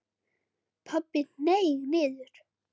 Pabbi hneig niður.